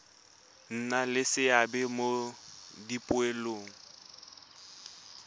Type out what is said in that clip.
nna le seabe mo dipoelong